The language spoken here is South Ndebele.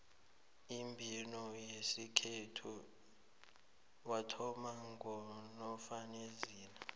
umbhino wesikhethu wathoma ngonofanezile